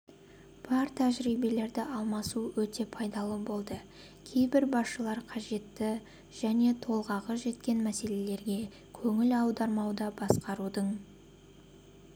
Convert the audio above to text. бар тәжірибелерді алмасу өте пайдалы болды кейбір басшылар қажетті және толғағы жеткен мәселелерге көңіл аудармауда басқарудың